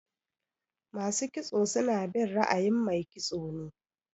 Masu kitso suna bin ra'ayin Mai kitso ne.